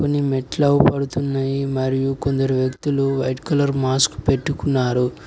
కొన్ని మెట్ల పడుతున్నాయి మరియు కొందరు వ్యక్తులు వైట్ కలర్ మాస్క్ పెట్టుకున్నారు.